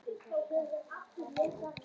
Eftir langan tíma var mér loks sleppt.